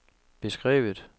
beskrevet